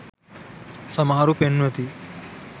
සමහරු පෙන්වති